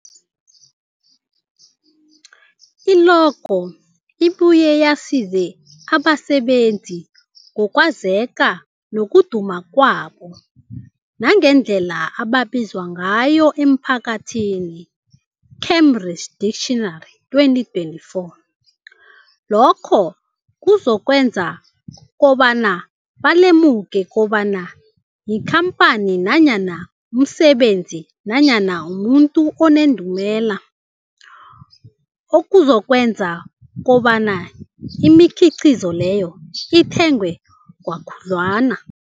I-logo ibuye yazise abasebenzisi ngokwazeka nokuduma kwabo nangendlela abaziwa ngayo emphakathini, Cambridge Dictionary 2024. Lokho kuzokwenza kobana balemuke kobana yikhamphani nanyana umsebenzi nanyana umuntu onendumela, okuzokwenza kobana imikhiqhizo leyo ithengwe khudlwana.